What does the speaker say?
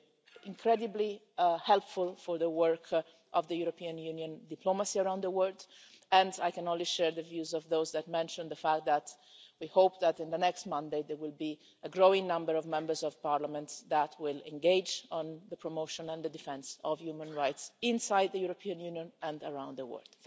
It has been incredibly helpful for the work of European Union diplomacy around the world, and I can only share the views of those that mentioned the fact that we hope that in the next mandate, there will be a growing number of Members of Parliament that will engage on the promotion and the defence of human rights inside the European Union and around the world.